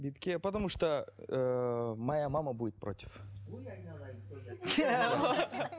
бетке потому что ыыы моя мама будет против